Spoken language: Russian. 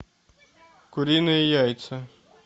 куриные яйца